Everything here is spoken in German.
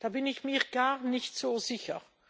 Da bin ich mir gar nicht so sicher.